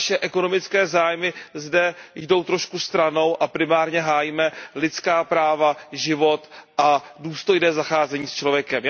naše ekonomické zájmy zde jdou trošku stranou, a primárně hájíme lidská práva, život a důstojné zacházení s člověkem.